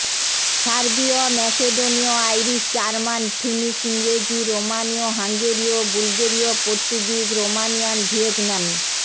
সার্বীয় ম্যাসেডোনীয় Irish German Finnish ইংরেজি রোমানীয় হাঙ্গেরীয় বুলগেরিয় পর্তুগিজ রোমানিয়ান ভিয়েতনামী